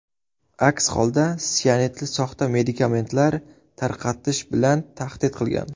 Aks holda sianidli soxta medikamentlar tarqatish bilan tahdid qilgan.